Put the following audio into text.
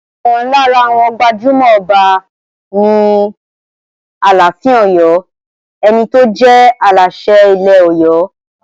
Ọ̀kan lára àwọn gbajúmọ̀ Ọba ni Aláàfin Ọ̀yọ́, ẹni tó jẹ́ Aláṣẹ ilẹ̀ Ọ̀yọ́.